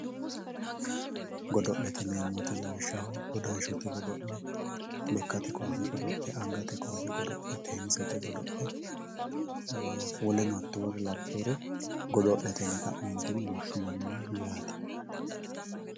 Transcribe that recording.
godo'lete yineemmo woyiite lawishshaho dodanshote god'le lekkate koaase ggodo'le angate koaase godo'le teennisete godo'le woleno hattoore labbewore godo'lete yine ka'neentinni woshshinanni yaate